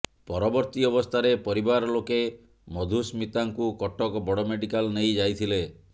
ପରବର୍ତୀ ଅବସ୍ଥାରେ ପରିବାର ଲୋକେ ମଧୁସ୍ମିତାଙ୍କୁ କଟକ ବଡ ମେଡିକାଲ ନେଇ ଯାଇଥିଲେ